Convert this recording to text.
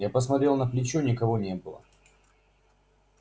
я посмотрел на плечо никого не было